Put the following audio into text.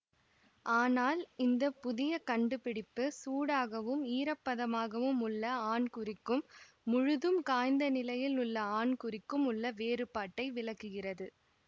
ஆனால் இந்த புதிய கண்டுபிடிப்பு சூடாகவும் ஈரப்பதமாகவும் உள்ள ஆண்குறிக்கும் முழுதும் காய்ந்த நிலையில் உள்ள ஆண்குறிக்கும் உள்ள வேறுபாட்டை விளக்குகிறது